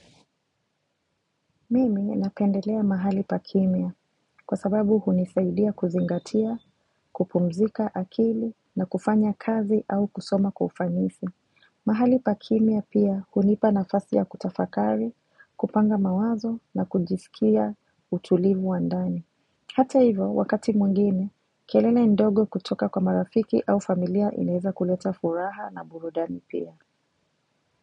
Mimi ninapendelea mahali pa kimya kwa sababu hunisaidia kuzingatia, kupumzika akili na kufanya kazi au kusoma kwa ufanisi. Mahali pa kimya pia hunipa nafasi ya kutafakari, kupanga mawazo na kujisikia utulivu wa ndani. Hata hivo, wakati mwingine, kelele ndogo kutoka kwa marafiki au familia inaeza kuleta furaha na burudani pia.